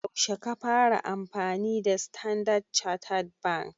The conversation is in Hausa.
Yaushe ka fara amfani da standard chattered bank?